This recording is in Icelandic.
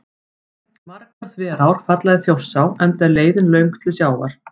Margar þverár falla í Þjórsá enda er leiðin til sjávar löng.